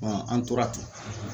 an tora ten